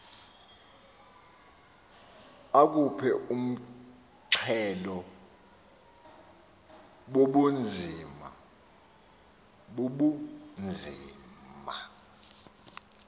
aphuke umxhelo bubunzima